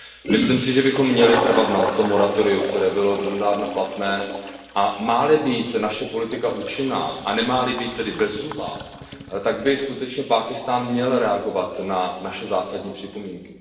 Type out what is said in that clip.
Myslím si, že bychom měli trvat na tom moratoriu, které bylo donedávna platné, a má li být naše politika účinná a nemá li být tedy bezzubá, tak by skutečně Pákistán měl reagovat na naše zásadní připomínky.